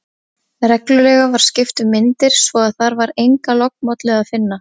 Reglulega var skipt um myndir, svo að þar var enga lognmollu að finna.